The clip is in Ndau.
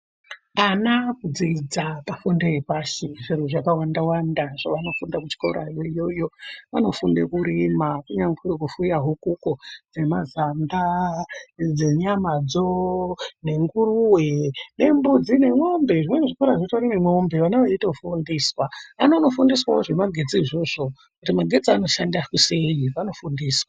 Ana akudzidza pafundo yepashi zviro zvakawanda-wanda zvavanofunda kuchikorayo iyoyo. Vanofunda kurima kunyangwe kufuya hukuko dzemazanda dzenyamadzo nenguruve nembudzi nemwombe zvimweni zvikora zvitorine mombe vana veitofundiswa. Vanono fundiswavo zvemagetsi izvozvo kuti magetse anoshanda sei vanofundiswa.